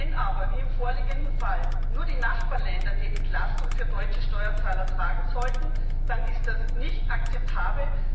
Wenn aber wie im vorliegenden Fall nur die Nachbarländer die Entlastung für deutsche Steuerzahler tragen sollten, dann ist das nicht akzeptabel.